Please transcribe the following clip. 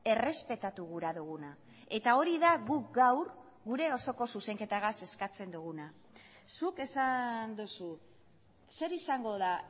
errespetatu gura duguna eta hori da guk gaur gure osoko zuzenketagaz eskatzen duguna zuk esan duzu zer izango da